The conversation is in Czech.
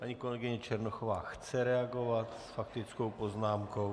Paní kolegyně Černochová chce reagovat s faktickou poznámkou.